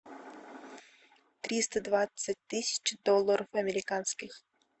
триста двадцать тысяч долларов американских